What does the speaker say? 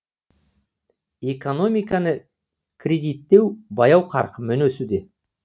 экономиканы кредиттеу баяу қарқынмен өсуде